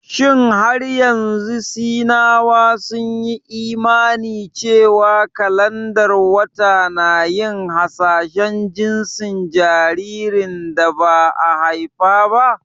Shin har yanzu Sinawa sun yi imani cewa kalandar wata na yin hasashen jinsin jaririn da ba a haifa ba?